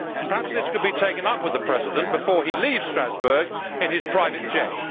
Perhaps this could be taken up with the President before he leaves Strasbourg in his private jet.